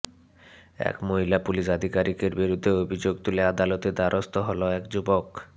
এক মহিলা পুলিস আধিকারিকের বিরুদ্ধে অভিযোগ তুলে আদালতের দ্বারস্থ হল এক যুবক